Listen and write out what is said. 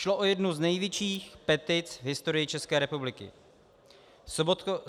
Šlo o jednu z největších petic v historii České republiky.